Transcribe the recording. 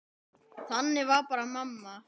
Þannig var bara mamma.